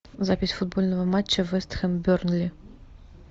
запись футбольного матча вест хэм бернли